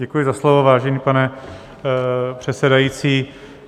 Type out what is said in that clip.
Děkuji za slovo, vážený pane předsedající.